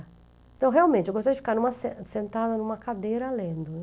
Então, realmente, eu gostava de ficar em uma sentada em uma cadeira lendo.